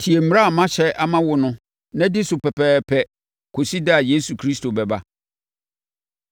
tie mmara a mahyɛ ama wo no na di so pɛpɛɛpɛ kɔsi da a Yesu Kristo bɛba.